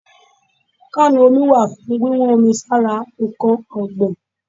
Kánù omi wà fún wíwọ́n omi sára ǹkan ọ̀gbìn.